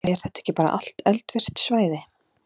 Er þetta ekki bara allt eldvirkt svæði?